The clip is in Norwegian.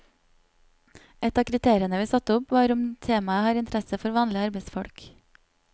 Et av kriteriene vi satte opp, var om temaet har interesse for vanlige arbeidsfolk.